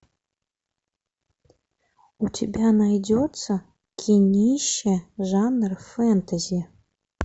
у тебя найдется кинище жанра фэнтези